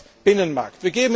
Zweitens, Binnenmarkt.